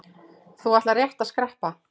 Þú ætlaðir rétt að skreppa.